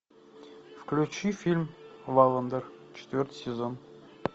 включи фильм валландер четвертый сезон